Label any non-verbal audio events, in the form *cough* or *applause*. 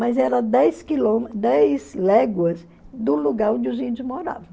Mas era dez *unintelligible* dez léguas do lugar onde os índios moravam.